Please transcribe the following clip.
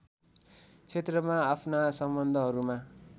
क्षेत्रमा आफ्ना सम्बन्धहरूमा